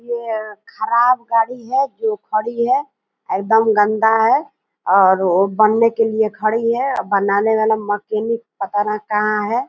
ये ख़राब गाड़ी है जो खड़ी है एकदम गंदा है और बनने के लिये खड़ी है बनाने वाला मैकेनिक पता ना कहां है।